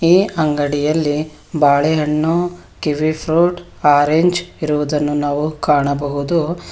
ಈ ಅಂಗಡಿಯಲ್ಲಿ ಬಾಳೆ ಹಣ್ಣು ಕಿವಿ ಫ್ರೂಟ್ ಆರೆಂಜ್ ಇರುವುದನ್ನು ನಾವು ಕಾಣಬಹುದು.